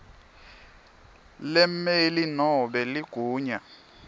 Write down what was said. lemmeli nobe ligunya